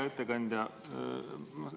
Hea ettekandja!